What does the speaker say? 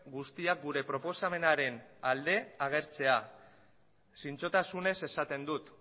guztiak gure proposamenaren alde agertzea zintzotasunez esaten dut